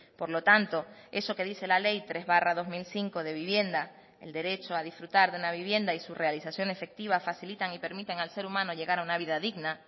por lo tanto eso que dice la ley tres barra dos mil cinco de vivienda el derecho a disfrutar de una vivienda y su realización efectiva facilitan y permiten al ser humano llegar a una vida digna